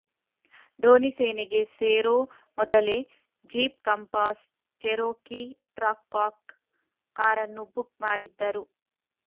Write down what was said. ಧೋನಿ ಸೇನೆಗೆ ಸೇರೋ ಮೊದಲೇ ಜೀಪ್ ಕಂಪಾಸ್ ಚೆರೋಕಿ ಟ್ರಾಕ್ವಾಕ್ ಕಾರನ್ನು ಬುಕ್ ಮಾಡಿದ್ದರು